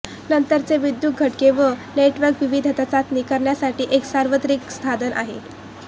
नंतरचे विद्युत घटके व नेटवर्क विविधता चाचणी करण्यासाठी एक सार्वत्रिक साधन आहे